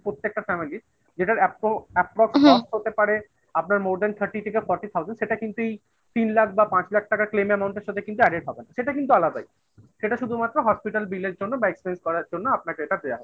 প্রত্যেকটা family র যেটার হতে পারে আপনার thirty থেকে forty thousand সেটা কিন্তু এই লাখ বা পাঁচ লাখ টাকার claim amount এর সাথে কিন্তু added হবে না, সেটা কিন্তু আলাদাই। সেটা শুধুমাত্র hospital bill র জন্য বা expanse করার জন্য আপনাকে এটা দেওয়া হয়েছে